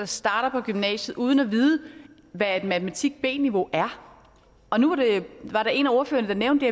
starter på gymnasiet uden at vide hvad et matematik b niveau er og nu var der en af ordførerne der nævnte